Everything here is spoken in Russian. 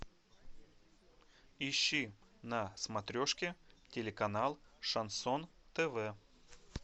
ищи на смотрешке телеканал шансон тв